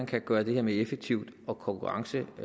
kan gøres mere mere effektivt og konkurrenceparat